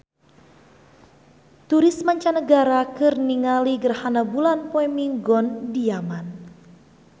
Turis mancanagara keur ningali gerhana bulan poe Minggon di Yaman